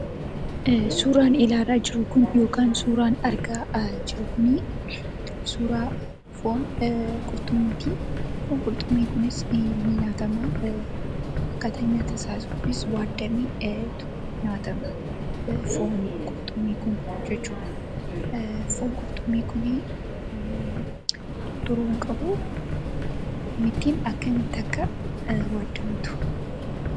Suuraan ilaalaa jirru kun yookaan suuraan argaa jirru kunii suuraa foon qurxummiitii. Foon qurxummii kunis ni nyaatama. Akkaataan nyaatasaa kunis waaddameetu nyaatama foon qurxummii kun jechuudha. Foon qurxummii kunii tutturuu hin qabu. Akkamittiin akka waaddamtu?